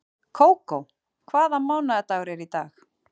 Kókó, hvaða mánaðardagur er í dag?